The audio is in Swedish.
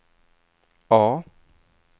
A